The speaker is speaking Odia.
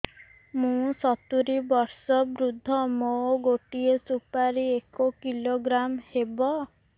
ମୁଁ ସତୂରୀ ବର୍ଷ ବୃଦ୍ଧ ମୋ ଗୋଟେ ସୁପାରି ଏକ କିଲୋଗ୍ରାମ ହେବ